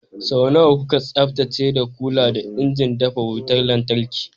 Sau nawa kuka tsaftace da kula da injin dafa wutar lantarki?